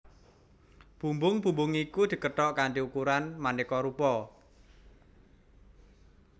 Bumbung bumbung iku dikethok kanthi ukuran manéka rupa